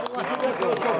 Siz də xoş gəlmisiniz.